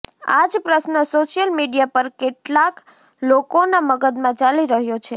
આ જ પ્રશ્ન સોશિયલ મીડિયા પર કેટલાક લોકોના મગજમાં ચાલી રહ્યો છે